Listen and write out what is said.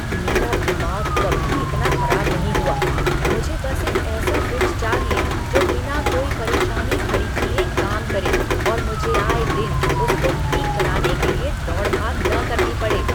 मेरा दिमाग कभी इतना खराब नहीं हुआ। मुझे बस एक ऐसा फ्रिज चाहिए जो बिना कोई परेशानी खड़ी किए काम करे और मुझे आए दिन उसको ठीक कराने के लिए दौड़ भाग न करनी पड़े!